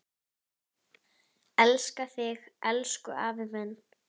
Elska þig, elsku afi minn.